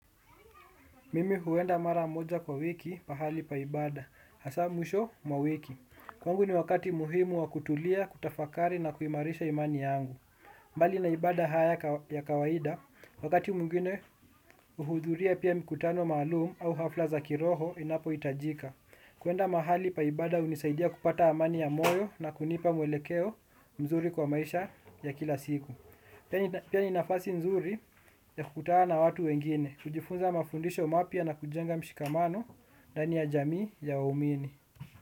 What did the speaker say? Mimi huenda mara moja kwa wiki pahali pa ibada, hasa mwisho mwa wiki. Kwangu ni wakati muhimu wa kutulia, kutafakari na kuimarisha imani yangu. Mbali na ibada haya ya kawaida, wakati mwngine huhudhuria pia mikutano maluum au hafla za kiroho inapohitajika. Kuenda mahali pa ibada hunisaidia kupata amani ya moyo na kunipa mwelekeo mzuri kwa maisha ya kila siku. Pia ni nafasi nzuri, ya kukutana na watu wengine, kujifunza mafundisho mapya na kujenga mshikamano ndani ya jamii ya waumini.